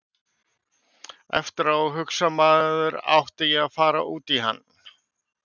Eftir á hugsar maður átti ég að fara út í hann?